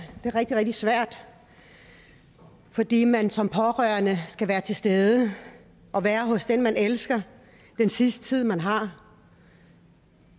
rigtig rigtig svært fordi man som pårørende skal være til stede og være hos den man elsker den sidste tid man har